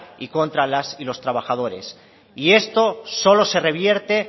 y contra las y los trabajadores y esto solo se revierte